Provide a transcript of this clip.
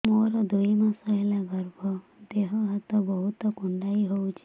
ମୋର ଦୁଇ ମାସ ହେଲା ଗର୍ଭ ଦେହ ହାତ ବହୁତ କୁଣ୍ଡାଇ ହଉଚି